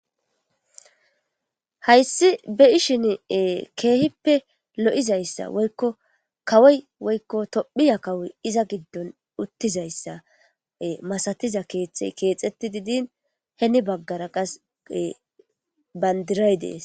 Hays be'ishn keehippe lo'zaysa woykko kawoy woyko tophiya kawoy utizaysa masatiza keethe kexid hen bagara bandiray de'es.